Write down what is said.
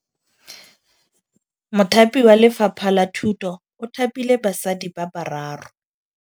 Mothapi wa Lefapha la Thutô o thapile basadi ba ba raro.